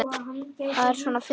Hvað er svona fyndið?